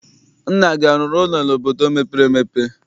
Nna gị arụrụ ụlọ n'obodo mepere emepe?